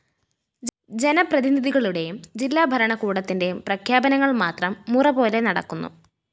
ജനപ്രതിനിധികളുടെയും ജില്ലാഭരണകൂടത്തിന്റെയും പ്രഖ്യാപനങ്ങള്‍ മാത്രം മുറ പോലെ നടക്കുന്നു